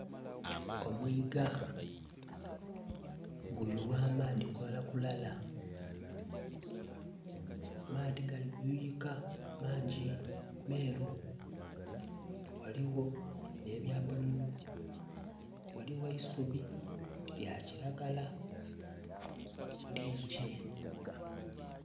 Omwiga guyugha amaadhi kulalakulala amaadhi gali kuyiyika mangi meru ghaligho nhe bya bululu ghaligho eisubi lya kilagala lingi.